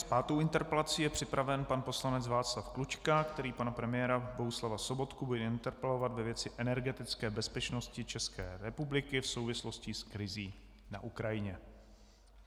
S pátou interpelací je připraven pan poslanec Václav Klučka, který pana premiéra Bohuslava Sobotku bude interpelovat ve věci energetické bezpečnosti České republiky v souvislosti s krizí na Ukrajině.